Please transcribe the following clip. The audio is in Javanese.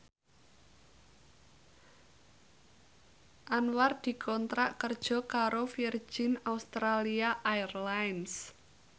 Anwar dikontrak kerja karo Virgin Australia Airlines